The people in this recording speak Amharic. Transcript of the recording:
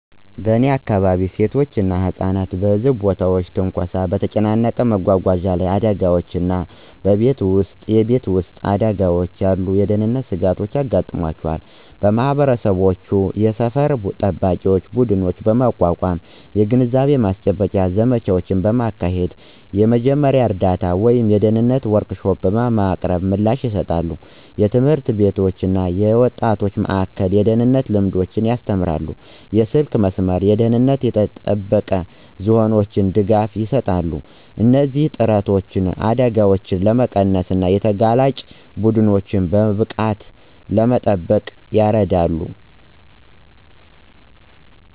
በእኔ አካባቢ፣ ሴቶች እና ህጻናት እንደ በህዝብ ቦታዎች ትንኮሳ፣ በተጨናነቀ መጓጓዣ ላይ አደጋዎች እና በቤት ውስጥ የቤት ውስጥ አደጋዎች ያሉ የደህንነት ስጋቶች ያጋጥሟቸዋል። ማህበረሰቦች የሰፈር ጠባቂ ቡድኖችን በማቋቋም፣ የግንዛቤ ማስጨበጫ ዘመቻዎችን በማካሄድ እና የመጀመሪያ እርዳታ ወይም የደህንነት ወርክሾፖችን በማቅረብ ምላሽ ይሰጣሉ። ትምህርት ቤቶች እና የወጣቶች ማእከላት የደህንነት ልምዶችን ያስተምራሉ, የስልክ መስመሮች እና ደህንነቱ የተጠበቀ ዞኖች ድጋፍ ይሰጣሉ. እነዚህ ጥረቶች አደጋዎችን ለመቀነስ እና ተጋላጭ ቡድኖችን በብቃት ለመጠበቅ ይረዳሉ።